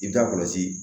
I bɛ taa kɔlɔsi